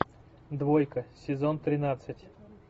двойка сезон тринадцать